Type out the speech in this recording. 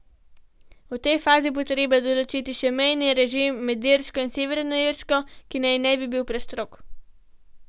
V tej fazi bo treba določiti še mejni režim med Irsko in Severno Irsko, ki naj ne bi bil prestrog.